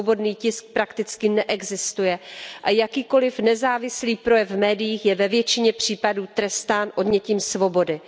Svobodný tisk prakticky neexistuje a jakýkoliv nezávislý projev v médiích je ve většině případů trestán odnětím svobody.